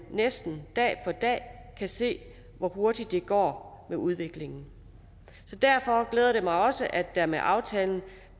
næsten dag for dag kan se hvor hurtigt det går med udviklingen så derfor glæder det mig også at der med aftalen